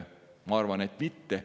Ma arvan, et ei ole.